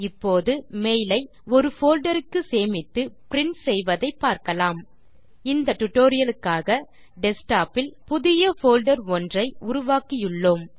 இப்போது மெயில் ஐ ஒரு folderக்கு சேமித்து பிரின்ட் செய்வதை பார்க்கலாம் இந்த டியூட்டோரியல் க்காக டெஸ்க்டாப் இல் புதிய போல்டர் ஒன்றை உருவாக்கியுள்ளோம்